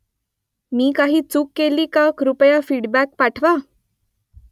मी काही चूक केली का कृपया फीडबॅक पाठवा ?